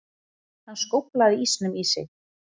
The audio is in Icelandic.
Hann skóflaði ísnum í sig.